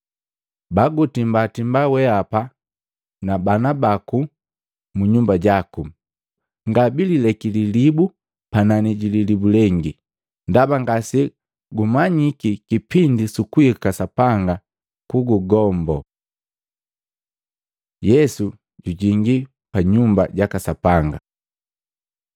Bagutimbatimba weapa na bana baku mu nyumba jaku. Ngabilileki lilibu panani jililibu lengi, ndaba ngase gumanyiki kipindi sukuhika Sapanga kungombo.” Yesu jujingi pa Nyumba jaka Sapanga Matei 21:12-17; Maluko 11:15-19; Yohana 2:13-22